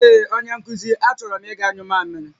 Ee onye nkuzi, a choro m iga nyụ mamịrị